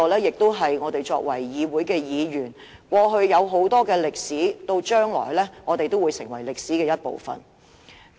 議會過去有很多歷史，我們作為議員，將來也會成為歷史的一部分。